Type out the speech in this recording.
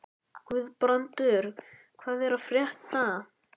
Guðbrandur, hvað er að frétta?